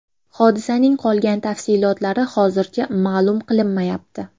Hodisaning qolgan tafsilotlari hozircha ma’lum qilinmayapti.